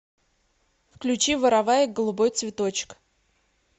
включи вороваек голубой цветочек